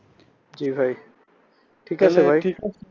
জি ভাই ঠিক আছে